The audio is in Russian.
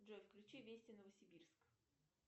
джой включи вести новосибирск